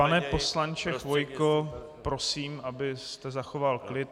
Pane poslanče Chvojko, prosím, abyste zachoval klid.